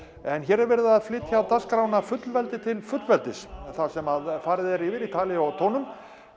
en hér er verið að flytja dagskrána fullveldi til fullveldis þar sem farið er yfir í tali og tónum